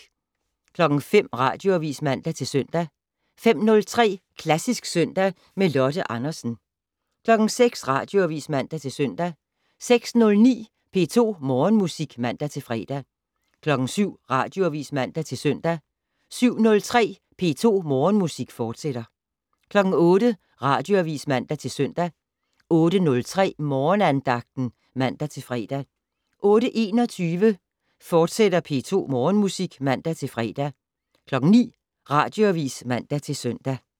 05:00: Radioavis (man-søn) 05:03: Klassisk søndag med Lotte Andersen 06:00: Radioavis (man-søn) 06:09: P2 Morgenmusik (man-fre) 07:00: Radioavis (man-søn) 07:03: P2 Morgenmusik, fortsat (man-søn) 08:00: Radioavis (man-søn) 08:03: Morgenandagten (man-fre) 08:21: P2 Morgenmusik, fortsat (man-fre) 09:00: Radioavis (man-søn)